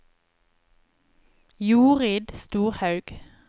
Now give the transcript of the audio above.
Jorid Storhaug